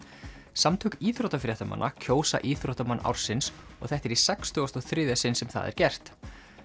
samtök íþróttafréttamanna kjósa íþróttamann ársins og þetta er í sextugasta og þriðja sinn sem það er gert